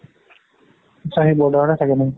আত্চা সি border তে থাকে নেকি